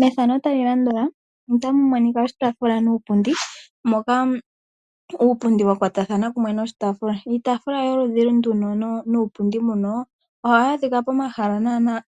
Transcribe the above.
Mefano tali landula otamu monika oshitaafula nuupundi. Moka uupundi wa kwatathana kunwe noshitafula. Iitafula yoludhi nduno nuupundi mbuno ohawu adhika pomahala nanaa